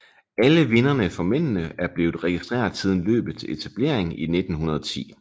Alle vinderne for mændene er blevet registreret siden løbets etablering i 1910